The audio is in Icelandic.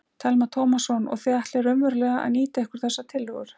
Telma Tómasson: Og þið ætlið raunverulega að nýta ykkur þessar tillögur?